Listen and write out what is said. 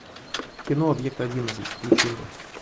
кино объект одиннадцать включи мне